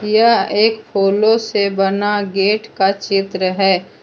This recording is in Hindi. यह एक फूलों से बना गेट का चित्र है।